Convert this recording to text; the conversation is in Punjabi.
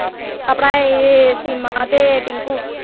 ਆਪਣਾ ਇਹ seema ਤੇ tinku